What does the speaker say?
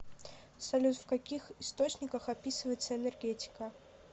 салют в каких источниках описывается энергетика